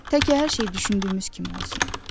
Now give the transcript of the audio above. Tək hər şey düşündüyümüz kimi olsun.